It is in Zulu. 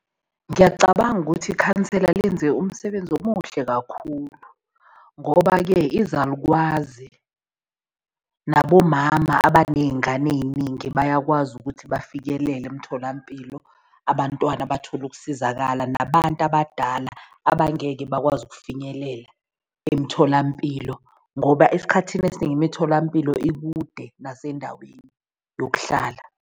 Ngiyacabanga ukuthi ikhansela lenze umsebenzi omuhle kakhulu ngoba-ke izalukwazi nabomama abaney'ngane ey'ningi bayakwazi ukuthi bafikelele emtholampilo. Abantwana bathole ukusizakala, nabantu abadala abangeke bakwazi ukufinyelela emtholampilo ngoba esikhathini esiningi imitholampilo ikude nasendaweni yokuhlala.